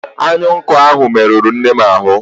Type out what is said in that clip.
Anyụike ahụ merụrụ nnem ahụ